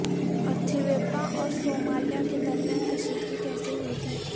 Ethiopia اور Somalia کے درمیان کشیدگی کیسے ہوئی تھی